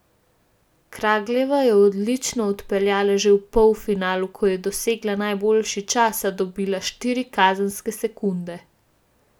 Kragljeva je odlično odpeljala že v polfinalu, ko je dosegla najboljši čas, a dobila štiri kazenske sekunde.